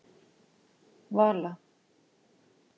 Vala